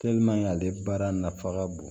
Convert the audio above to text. ale baara nafa ka bon